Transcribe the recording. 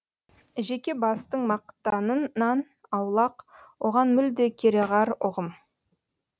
жеке бастың мақтанынан аулақ оған мүлде кереғар ұғым